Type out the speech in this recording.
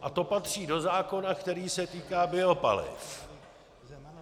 A to patří do zákona, který se týká biopaliv.